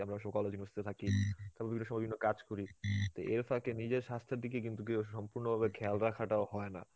আমরা অনেক সময় college এ hostel এ থাকি, তারপরে বিভিন্ন সো বিভিন্ন কাজ করি, তা এর ফাকে নিজের স্বাস্থের দিকে কিন্তু কেউ সম্পুর্ন্ন ভাবে খেয়াল রাখাটাও হয়না.